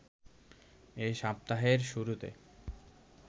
এ সপ্তাহের শুরুতে